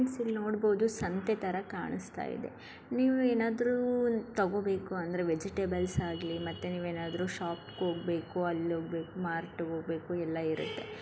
ನೀವ್ ಇಲ್ಲಿ ನೋಡಬೋದು ಸಂತೆ ತರ ಕಾಣಿಸ್ತಾ ಇದೆ ನೀವು ಏನಾದ್ರು ತಗೋಬೇಕು ಅಂದ್ರೆ ವೆಜೆಟೇಬಲ್ಸ್ ಆಗ್ಲಿ ಮತ್ತೆ ನೀವ್ ಏನಾದ್ರು ಶಾಪ್ ಹೋಗ್ಬೇಕು ಅಲ ಹೋಗ್ಬೇಕು ಮಾರ್ಟ್ ಹೋಗ್ಬೇಕು ಎಲ ಇರುತ್ತೆ .